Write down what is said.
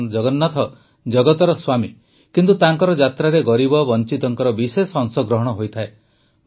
ଭଗବାନ ଜଗନ୍ନାଥ ଜଗତର ସ୍ୱାମୀ କିନ୍ତୁ ତାଙ୍କର ଯାତ୍ରାରେ ଗରିବ ବଂଚିତଙ୍କ ବିଶେଷ ଅଂଶଗ୍ରହଣ ହୋଇଥାଏ